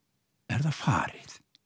er það farið